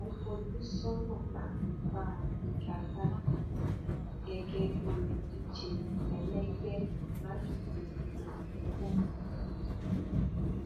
mo ń fojú sọnà láti bá a figa gbága gẹgẹ bíi olùdíje ẹlẹgbẹ mi lásìkò ìdìbò tó ń bọ